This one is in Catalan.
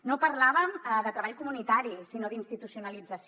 no parlàvem de treball comunitari sinó d’institucionalització